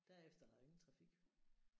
Derefter er der jo ingen trafik